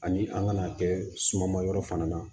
Ani an ŋana kɛ suma ma yɔrɔ fana na